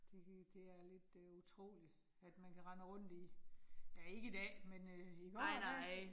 Det det er lidt øh utrolig, at man kan render rundt i, ja ikke i dag, men i går, der